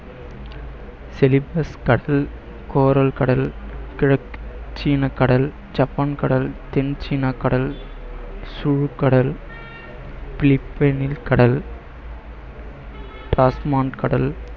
கடல், கிழக்கு சீனக்கடல் ஜப்பான் கடல் தென் சீனா கடல், கடல், பிலிப்பைனில் கடல், கடல்,